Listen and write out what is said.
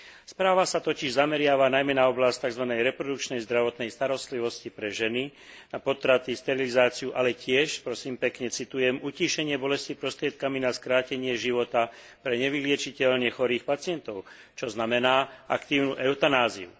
Správa sa totiž zameriava najmä na oblasť takzvanej reprodukčnej zdravotnej starostlivosti pre ženy a potraty, sterilizáciu, ale tiež, prosím pekne, citujem utíšenie bolesti prostriedkami na skrátenie života pre nevyliečiteľne chorých pacientov, čo znamená aktívnu eutanáziu.